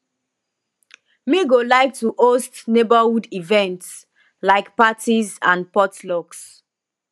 me go like to host neighborhood events like parties and potlucks